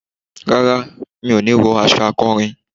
Rárá, mi òní wọ aṣọ akọrin